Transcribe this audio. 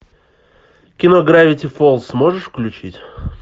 кино гравити фолз можешь включить